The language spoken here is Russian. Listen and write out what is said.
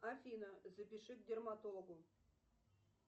афина запиши к дерматологу